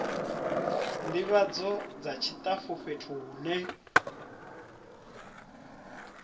ndivhadzo dza tshitafu fhethu hune